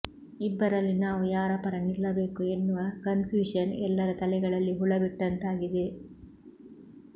ಇಬ್ಬರಲ್ಲಿ ನಾವು ಯಾರ ಪರ ನಿಲ್ಲಬೇಕು ಎನ್ನುವ ಕನ್ಫ್ಯೂಶನ್ ಎಲ್ಲರ ತಲೆಗಳಲ್ಲಿ ಹುಳ ಬಿಟ್ಟಂತಾಗಿದೆ